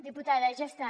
diputada ja està